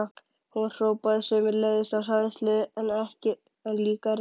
Hún hrópaði sömuleiðis, af hræðslu en líka reiði.